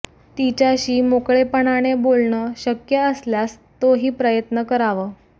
तिच्याशी मोकळेपणाने बोलणं शक्य असल्यास तो ही प्रयत्न करावं